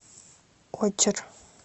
очер